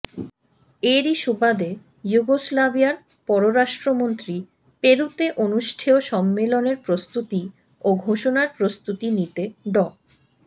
এরই সুবাদে যুগোস্লাভিয়ার পররাষ্ট্রমন্ত্রী পেরুতে অনুষ্ঠেয় সম্মেলনের প্রস্তুতি ও ঘোষণার প্রস্তুতি নিতে ড